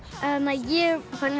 ég fór